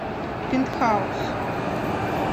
пентхаус